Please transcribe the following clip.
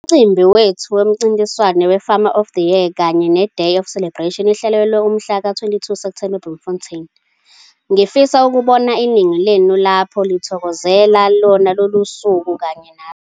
Umcimbi wethu womncintiswano we-Farmer of the Year kanye neDay of Celebration ihlelelwe umhla ka-22 Septhemba eBloemfontein. Ngifisa ukubona iningi lenu lapho lithokozela lolo suku kanye nathi.